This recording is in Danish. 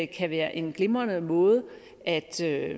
kan være en glimrende måde at skabe